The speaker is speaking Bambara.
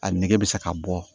A nege bɛ se ka bɔ